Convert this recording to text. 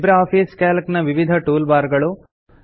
Libre Office Calc ನ ವಿವಿಧ tool bar ಗಳು